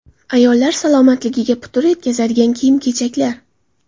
Ayollar salomatligiga putur yetkazadigan kiyim-kechaklar.